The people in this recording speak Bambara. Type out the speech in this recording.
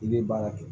I bɛ baara kɛ